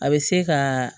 A bɛ se ka